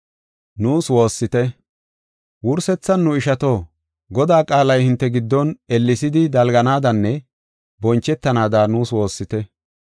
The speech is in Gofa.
Wursethan nu ishato, Godaa qaalay hinte giddon ellesidi dalganaadanne bonchetanaada nuus woossite.